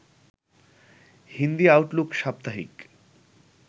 Hindi Outlook সাপ্তাহিক